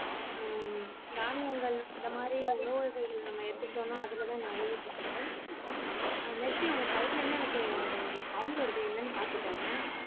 அஹ் தானியங்கள் இந்த மாதிரி உணவு வகைகள் நம்ம எடுத்துக்கிட்டோம்னா அதுலதான் நிறைய சத்துக்கள் ஆஹ் மெர்சி உங்க side ல இருந்து எனக்கு sound வருது என்னன்னு பார்த்துக்கோங்க